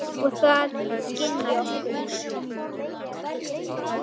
Og það skynji okkur.